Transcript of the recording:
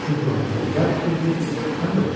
Çünki o həm gözəl tikirdi, həm də ucuz.